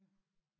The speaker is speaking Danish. Ja